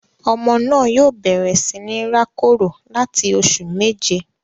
Ọmọ naa yoo bẹrẹ si ni ra koro lati oṣu meje